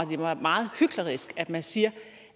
det mig meget hyklerisk at man siger